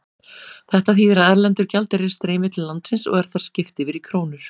Þetta þýðir að erlendur gjaldeyrir streymir til landsins og er þar skipt yfir í krónur.